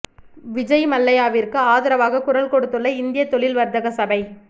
விஜய் மல்லையாவிற்கு ஆதரவாக குரல் கொடுத்துள்ள இந்திய தொழில் வர்த்தக சபை